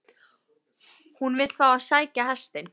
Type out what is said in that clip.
HÚN vill fá að sækja hestinn.